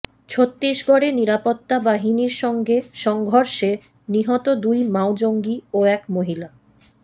ছত্তিশগড়ে নিরাপত্তা বাহিনীর সঙ্গে সংঘর্ষে নিহত দুই মাও জঙ্গি ও এক মহিলা